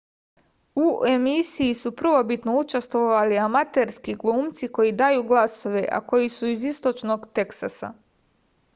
u emisiji su prvobitno učestvovali amaterski glumci koji daju glasove a koji su iz istočnog teksasa